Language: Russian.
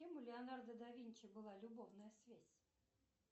с кем у леонардо да винчи была любовная связь